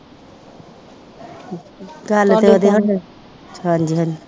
ਹਾਂਜੀ ਹਾਂਜੀ